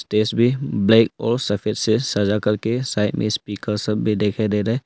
Stage भी black और सफेद से सजा करके साइड में स्पीकर सब भी दिखाई दे रहा है।